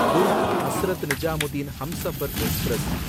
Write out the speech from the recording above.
Durg Hazrat Nizamuddin Humsafar express